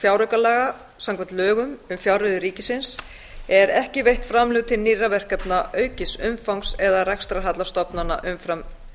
fjáraukalaga samkvæmt lögum um fjárreiður ríkisins eru ekki veitt framlög til nýrra verkefna aukins umfangs eða rekstrarhalla stofnana umfram